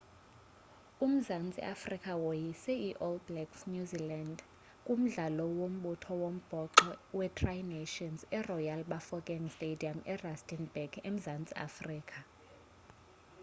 umzantsi afrika woyise i-all blacks new zealand kumdlalo wombutho wombhoxo wetri nations eroyal bafokeng stadium erustenburg emzantsi afrika